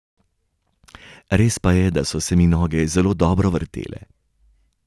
Res pa je, da so se mi noge zelo dobro vrtele.